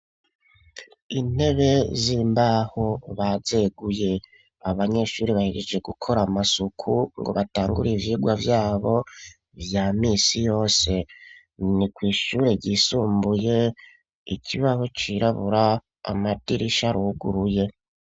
Intebe z'imbaho bazeguye, abanyeshuri bahejeje gukora amasuku ngo batangure ivyigwa vyabo vya misi yose, ni kw'ishure ryisumbuye, ikibaho cirabura, amadirisha aruguruye.